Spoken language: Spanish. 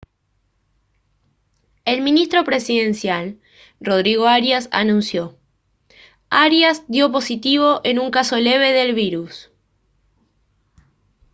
el ministro presidencial rodrigo arias anunció: «arias dio positivo en un caso leve del virus»